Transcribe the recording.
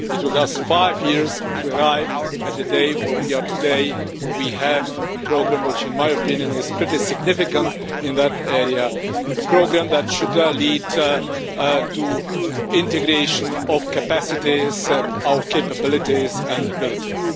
It took us five years to arrive at the day where we are today where we have a programme which, in my opinion, is pretty significant in that area, a programme that should lead to integration of capacities, our capabilities and abilities.